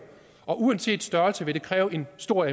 og uanset størrelse kræver det en stor